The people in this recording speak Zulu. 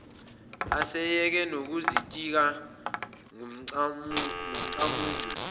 eseyeke nokuzitika ngoncamunce